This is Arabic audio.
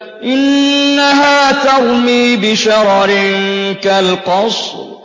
إِنَّهَا تَرْمِي بِشَرَرٍ كَالْقَصْرِ